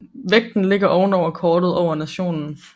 Vægten ligger oven over kortet over nationen